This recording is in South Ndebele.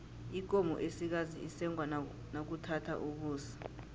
ikomo esikazi isengwa nakuthatha ukusa